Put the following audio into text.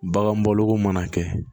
Bagan bɔlogo mana kɛ